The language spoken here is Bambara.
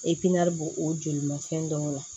bo o joli ma fɛn dɔw la